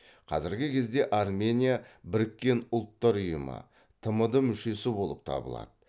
қазіргі кезде армения біріккен ұлттар ұйымы тмд мүшесі болып табылады